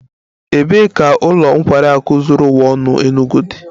Ebee ka ụlọ nkwari akụ zuru ụwa ọnụ Enugwu dị?